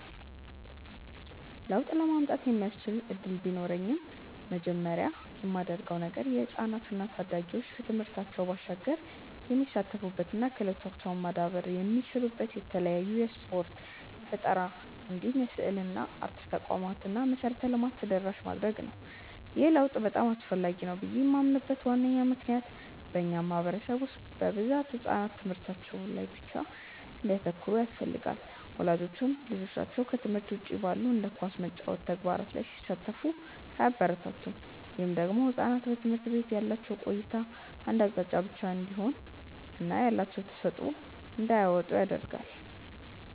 ለውጥ ለማምጣት የሚያስችል እድል ቢኖረኝ መጀመሪያ ማደርገው ነገር የህፃናት እና ታዳጊዎች ከትምህርታቸው ባሻገር የሚሳተፉበት እና ክህሎታቸውም ማዳበር የሚችሉበት የተለያዩ የስፖርት፣ የፈጠራ እንዲሁም የስዕልና አርት ተቋማትን እና መሰረተ ልማትን ተደራሽ ማድረግ ነው። ይህ ለውጥ በጣም አስፈላጊ ነው ብዬ ማምንበት ዋነኛ ምክንያት በእኛ ማህበረሰብ ውስጥ በብዛት ህጻናት ትምህርታቸው ላይ ብቻ እንዲያተኩሩ ይፈለጋል። ወላጆችም ልጆቻቸው ከትምህርት ውጪ ባሉ እንደ ኳስ መጫወት ያሉ ተግባራት ላይ ሲሳተፉ አያበረታቱም። ይህ ደግሞ ህጻናት በትምህርት ቤት ያላቸው ቆይታ አንድ አቅጣጫን ብቻ እንዲይዝ እና ያላቸውን ተሰጥዖ እንዳያወጡ ያረጋቸዋል።